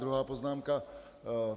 Druhá poznámka.